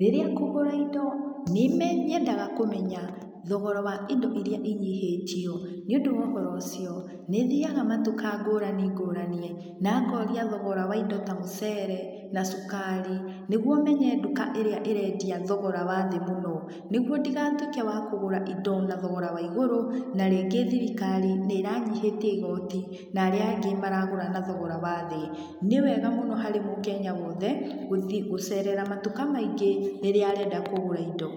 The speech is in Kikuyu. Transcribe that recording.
rĩrĩa ngũgũra indo, nĩ nyendaga kũmenya thogora wa indo iria inyihĩtio. Nĩũndũ wa ũhoro ũcio, nĩthiaga matuka ngũrani ngũrani, na ngoria thogora wa indo ta mũcere, na cukari, nĩguo menye nduka ĩrĩa ĩrendia thogora wa thĩ mũno. Nĩguo ndigatuĩke wa kugũra indo na thogora wa igũrũ, na rĩngĩ thirikari nĩĩranyihĩtie igoti, na arĩa angĩ maragũra na thogora wa thĩ. Nĩwega mũno harĩ mũkenya wothe gũcerera matuka maingĩ, rĩrĩa arenda kũgũra indo.